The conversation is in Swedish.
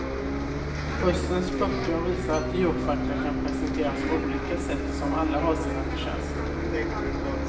Höstens böcker visar att djurfakta kan presenteras på olika sätt, som alla har sina förtjänster.